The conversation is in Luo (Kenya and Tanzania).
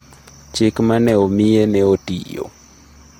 Chik ma ne omiye ne otiyo.